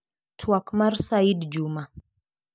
Tuak mar Said Juma.